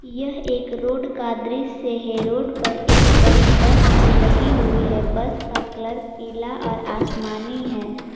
यह एक रोड का दृश्य है रोड पर एक बड़ी बस भी लगी हुई है बस का कलर पीला और आसमानी है।